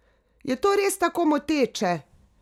Je to res tako moteče?